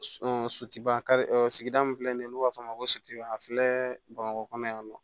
So sutu kari sigida min filɛ nin ye n'u b'a f'a ma ko a filɛ bamakɔ kɔnɔ yan nɔ